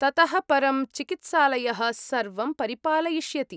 ततः परं, चिकित्सालयः सर्वं परिपालयिष्यति।